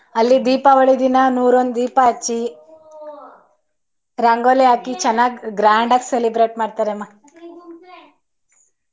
ಅಲ್ಲಿ ದೀಪಾವಳಿ ದಿನ ನೂರೊಂದು ದೀಪ ಅಚ್ಚಿ ರಂಗೋಲಿ ಹಾಕಿ ಚೆನ್ನಾಗ grand ಆಗ celebrate ಮಾಡ್ತಾರಮ್ಮ .